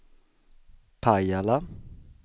Pajala